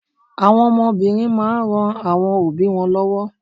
Àwọn ọmọ obìnrin máa n ran àwọn obi won lówó